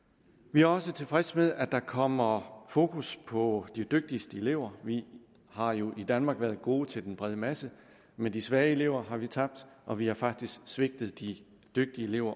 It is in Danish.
vi er også tilfredse med at der kommer fokus på de dygtigste elever vi har jo i danmark været gode til den brede masse men de svage elever har vi tabt og vi har faktisk også svigtet de dygtige elever